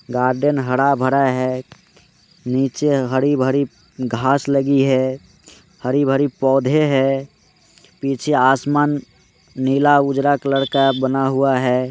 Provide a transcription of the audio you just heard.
Garden हरा भरा है नीचे हरी भरी घास लगी है हरी भरी पौधे है नीचे आसमान नीला उजाला कलर का बना हुआ है।